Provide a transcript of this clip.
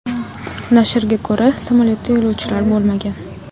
Nashrga ko‘ra, samolyotda yo‘lovchilar bo‘lmagan.